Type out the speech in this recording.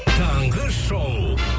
таңғы шоу